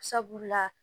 Sabula